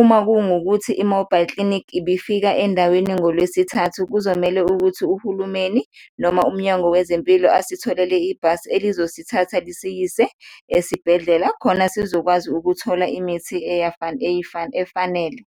uma kungukuthi i-mobile clinic ibifika endaweni ngolwesithathu, kuzomele ukuthi uhulumeni noma umnyango wezempilo asitholele ibhasi elizosithatha lisiyise esibhedlela khona sizokwazi ukuthola imithi efanele.